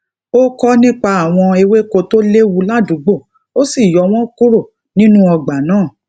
ó ko nipa awon ewéko to lewu ládùúgbò ó sì yo wọn kúrò nínú ọgbà náà